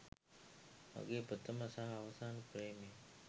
මගේ ප්‍රථම සහ අවසාන ප්‍රේමය.